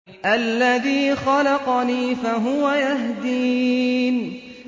الَّذِي خَلَقَنِي فَهُوَ يَهْدِينِ